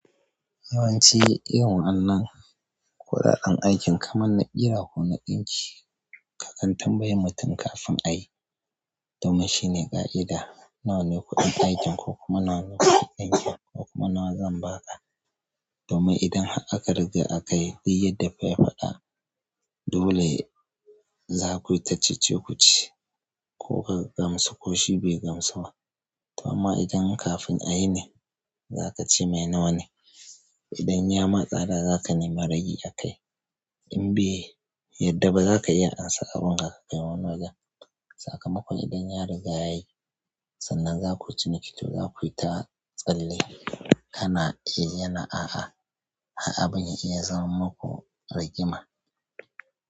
Yawanci irin wannan kuɗaɗen aikin kamar na ƙira ko na ɗinki, ka dinga tambayan mutum kafin a yi, domin shine ƙa'ida nawa ne kuɗin aikin ko kuma nawa ne kuɗin ɗinki ko kuma nawa zan ba ka. Domin idan har aka riga aka yi duk yadda fa ya faɗa dole zaku yi ta cece-kuce ko ka gamsu ko shi bai gamsu ba. Amma idan kafin a yi ne za ka ce me nawa ne. Idan ya matsa dai zaka nemi rage a kai. In bai, yadda ba za ka iya ansan abunka ka kai wani wajen. Sakamakon idan ya riga yayi sannan za kuyi ciniki to za ku yi ta tsalle ana eh, yana a'a, har abun ya iya zama muku rigima.